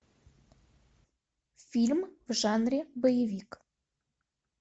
фильм в жанре боевик